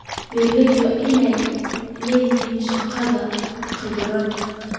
Beeralayda waa in ay la shaqeeyaan khubarada.